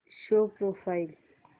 show profile